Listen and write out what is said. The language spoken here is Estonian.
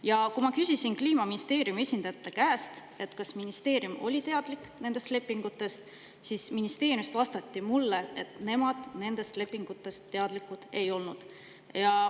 Ja kui ma küsisin Kliimaministeeriumi esindajate käest, kas ministeerium oli teadlik nendest lepingutest, siis ministeeriumist vastati mulle, et nemad nendest lepingutest teadlikud ei olnud.